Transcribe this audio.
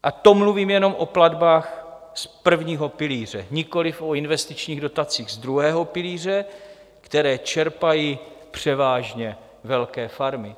A to mluvím jenom o platbách z prvního pilíře, nikoliv o investičních dotacích z druhého pilíře, které čerpají převážně velké farmy.